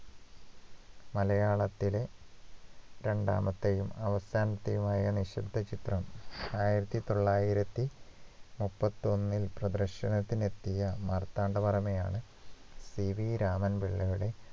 മലയാളത്തിലെ രണ്ടാമത്തെയും അവസാനത്തെയുമായ നിശബ്ദ ചിത്രം ആയിരത്തിതൊള്ളായിരത്തിമുപ്പത്തൊന്നിൽ പ്രദർശനത്തിന് എത്തിയ മാർത്താണ്ഡ വർമ്മയാണ് PV രാമൻ പിള്ളയുടെ